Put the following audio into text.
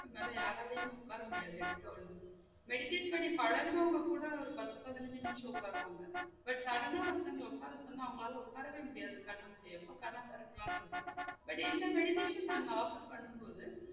நம்மளால யாராளையும் உக்கார முடியாது எடுத்த ஒடனே meditation பண்ணி பழகுனவங்க கூட ஒரு பத்து பதினஞ்சி நிமிஷம் உக்காருவாங்க but sudden ஆ ஒருத்தங்கல உக்கார சொன்னா அவங்களாலே உக்காரவே முடியாது கண் முடியாது. எப்போ கண்ண தொறக்குலானு இருக்கும் but இந்த meditation நாங்க offer பண்ணும்போது